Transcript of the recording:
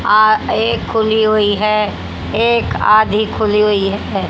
एक खुली हुई है। एक आधी खुली हुई है।